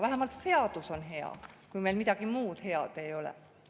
Vähemalt seadus on hea, kui meil midagi muud head ei ole.